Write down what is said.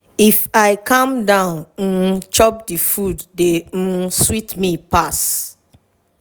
if i calm down um chop the food dey um sweet me pass.